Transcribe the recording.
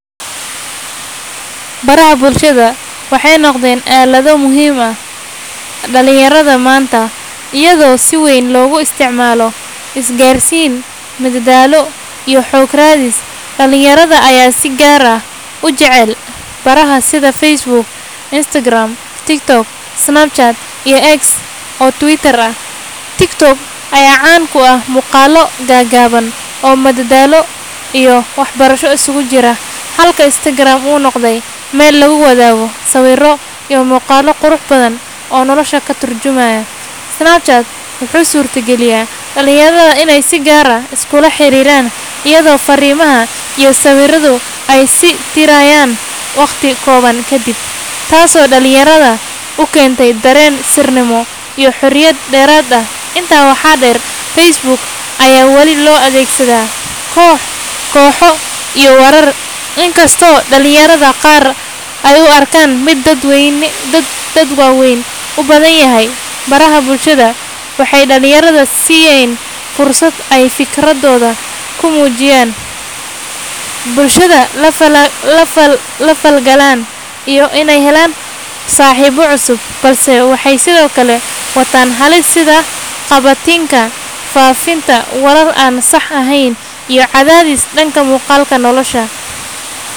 Baraha bulshada waxay noqdeen aalado muhiim u ah dhalinyarada maanta, iyadoo si weyn loogu isticmaalo isgaarsiin, madadaalo, iyo xog-raadis. Dhalinyarada ayaa si gaar ah u jecel baraha sida Facebook, Instagram, TikTok, Snapchat, iyo X oo Twitter ah. TikTok ayaa caan ku ah muuqaallo gaagaaban oo madadaalo iyo waxbarasho isugu jira, halka Instagram uu noqday meel lagu wadaago sawirro iyo muuqaallo qurux badan oo nolosha ka turjumaya. Snapchat wuxuu u suurtageliyaa dhalinyarada inay si gaar ah iskula xiriiraan iyadoo farriimaha iyo sawirradu ay is tirayaan waqti kooban kadib, taasoo dhalinyarada u keentay dareen sirnimo iyo xorriyad dheeraad ah. Intaa waxaa dheer, Facebook ayaa wali loo adeegsadaa kooxo iyo warar, inkastoo dhalinyarada qaar ay u arkaan mid dad waaweyn u badan yahay. Baraha bulshada waxay dhalinyarada siiyeen fursad ay fikirkooda ku muujiyaan, bulshada la falgalaan, iyo inay helaan saaxiibo cusub, balse waxay sidoo kale wataan halis sida qabatinka, faafinta warar aan sax ahayn, iyo cadaadis dhanka muuqaalka nolosha.